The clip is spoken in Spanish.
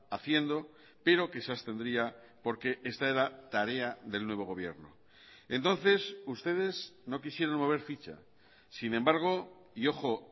haciendo pero que se abstendría porque esta era tarea del nuevo gobierno entonces ustedes no quisieron mover ficha sin embargo y ojo